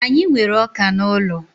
Anyị nwere ọka n'ụlọ.